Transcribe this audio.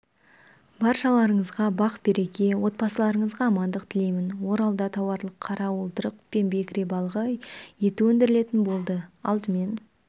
баршаларыңызға бақ-береке отбасыларыңызға амандық тілеймін оралда тауарлық қара уылдырық пен бекіре балығы еті өндірілетін болды алдымен